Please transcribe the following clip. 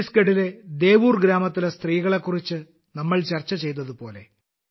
ഛത്തീസ്ഗഡിലെ ദേഉർ ഗ്രാമത്തിലെ സ്ത്രീകളെക്കുറിച്ച് നമ്മൾ ചർച്ച ചെയ്തതുപോലെ